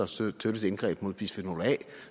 støtte et indgreb mod bisfenol a